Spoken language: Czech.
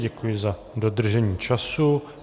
Děkuji za dodržení času.